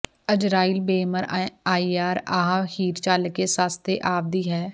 ਅਜ਼ਰਾਈਲ ਬੇਅਮਰ ਅੱਈਆਰ ਆਹਾ ਹੀਰ ਚੱਲ ਕੇ ਸੱਸ ਥੇ ਆਂਵਦੀ ਹੈ